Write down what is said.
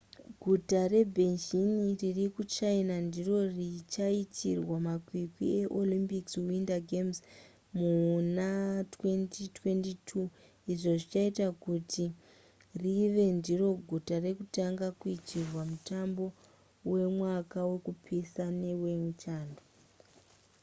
guta rebeijing riri kuchina ndiro richaitirwa makwikwi eolympic winter games muna 2022 izvo zvichaita kuti rive ndiro guta rekutanga kuitirwa mutambo wemwaka wekupisa newechando